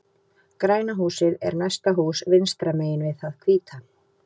Græna húsið er næsta hús vinstra megin við það hvíta.